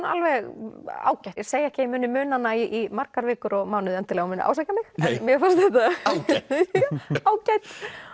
alveg ágæt ég segi ekki að ég muni muna hana í margar vikur og mánuði endilega að hún muni ásækja mig en mér fannst þetta ágætt